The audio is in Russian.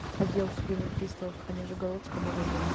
отдел судебных приставов по нижегородскому району